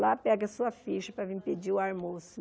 Lá pega a sua ficha para vir pedir o almoço.